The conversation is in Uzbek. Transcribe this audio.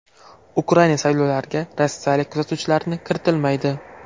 Ukraina saylovlariga rossiyalik kuzatuvchilarni kiritilmaydi.